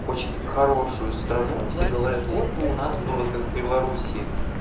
хочет хорошую страну все говорят вот бы у нас было как в беларуси